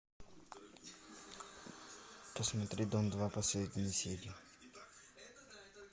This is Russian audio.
посмотри дом два последние серии